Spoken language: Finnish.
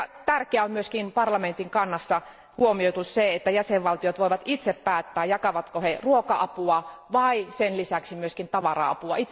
Tärkeä on myöskin, että Euroopan parlamentin kannassa on huomioitu se, että jäsenvaltiot voivat itse päättää jakavatko ne ruoka apua vai sen lisäksi myös tavara apua.